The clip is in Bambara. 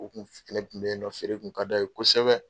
U kun fitinɛ kun bɛ yen nɔ feere kun ka da ye kosɛbɛ.